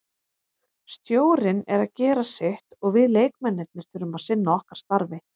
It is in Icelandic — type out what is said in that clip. Stjórinn er að gera sitt og við leikmennirnir þurfum að sinna okkar starfi.